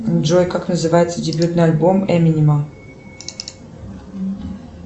джой как называется дебютный альбом эминема